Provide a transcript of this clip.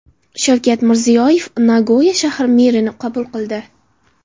Shavkat Mirziyoyev Nagoya shahri merini qabul qildi.